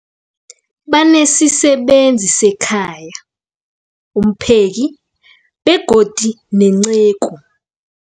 Banesisebenzi sekhaya, umpheki, begodu nenceku.